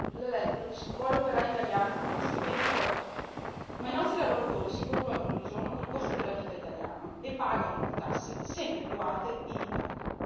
L'Electrolux vuole operai italiani con stipendio polacco, ma i nostri lavoratori si confrontano ogni giorno con il costo della vita italiano e pagano le tasse, sempre più alte, in Italia.